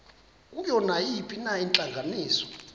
kuyo nayiphina intlanganiso